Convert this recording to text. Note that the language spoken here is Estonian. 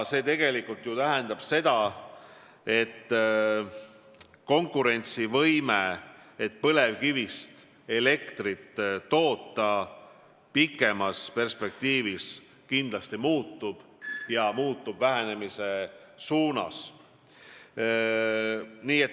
See ju tähendab, et pikemas perspektiivis põlevkivist elektri tootmise konkurentsivõime kindlasti muutub ja muutub vähenemise suunas.